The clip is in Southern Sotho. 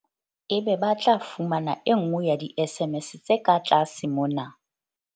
Ebe ba tla fumana e nngwe ya di-SMS tse ka tlase mona.